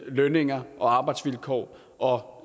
lønninger og arbejdsvilkår og